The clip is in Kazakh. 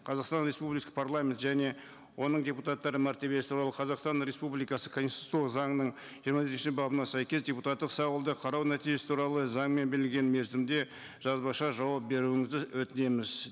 қазақстан республикасы парламент және оның депутаттары мәртебесі туралы қазақстан республикасы конституциялық заңының жиырма бесінші бабына сәйкес депутаттық сауалды қарау нәтижесі туралы заңмен белгіленген мерзімде жазбаша жауап беруіңізді өтінеміз